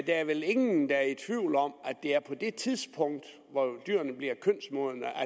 er vel ingen der er i tvivl om at det er på det tidspunkt hvor dyrene bliver kønsmodne at